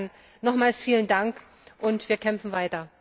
Insofern nochmals vielen Dank, und wir kämpfen weiter!